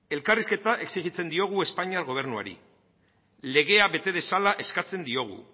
elkarrizketa exijitzen diogu espainiar gobernuari legea bete dezala eskatzen diogu